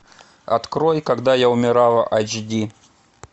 открой когда я умирала айч ди